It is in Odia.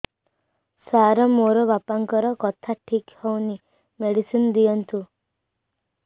ସାର ମୋର ବାପାଙ୍କର କଥା ଠିକ ହଉନି ମେଡିସିନ ଦିଅନ୍ତୁ